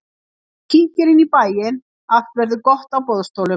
Ef þú kíkir inn í bæinn alt verður gott á boðstólum.